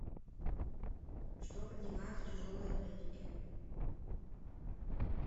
что поднимают в тяжелой атлетике